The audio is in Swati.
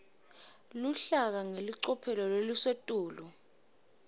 luhlaka ngelicophelo lelisetulu